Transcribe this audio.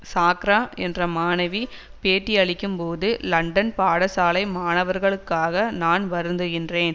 சாக்ரா என்ற மாணவி பேட்டியளிக்கும்போது லண்டன் பாடசாலை மாணவர்களுக்காக நான் வருந்துகின்றேன்